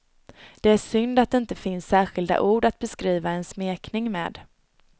Det är synd att det inte finns särskilda ord att beskriva en smekning med.